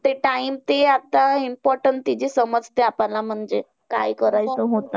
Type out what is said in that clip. ते time ते आता important त्याची समजते आपल्याला म्हणजे काय करायचं होता.